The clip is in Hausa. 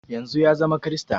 Yanzun ya zama krista